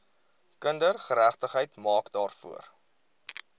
kindergeregtigheid maak daarvoor